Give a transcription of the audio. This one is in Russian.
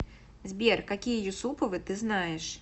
сбер какие юсуповы ты знаешь